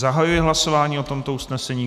Zahajuji hlasování o tomto usnesení.